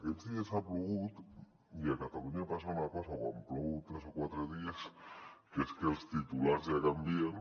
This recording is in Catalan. aquests dies ha plogut i a catalunya passa una cosa quan plou tres o quatre dies que és que els ti·tulars ja canvien